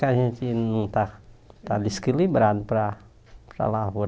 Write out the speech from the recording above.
Que a gente não está está desequilibrado para para a lavoura.